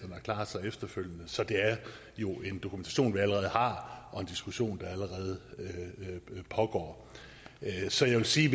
at klare sig efterfølgende så det er jo en dokumentation vi allerede har og en diskussion der allerede pågår så jeg vil sige